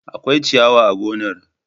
Akwai ciyawa a gonar.